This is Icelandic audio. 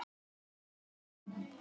Verið á verði.